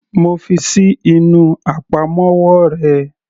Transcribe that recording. Mo fi ṣí inú àpamọ́wọ́ rẹ.